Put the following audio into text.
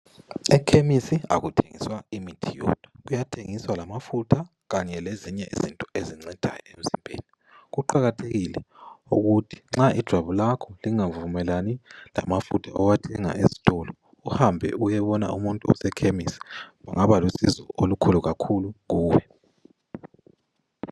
Ekhemisi akuthenguswa imithi yodwa, kuyathengiswa lamafutha kanye lezinye izinto ezincedayo emzimbeni .Kuqakathekile ukuthi nxa ijwabu lakho lingavumelani lamafutha owathenga ezitolo, uhambe uyebona umuntu osekhemisi..Kungaba lusizo olukhulu kakhulu kuwe.